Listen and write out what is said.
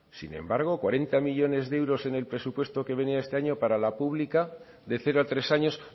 sin embargo cuarenta millónes de euros en el presupuesto que venía este año para la pública de cero a tres años